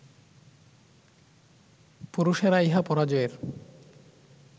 পুরুষেরা ইহা পরাজয়ের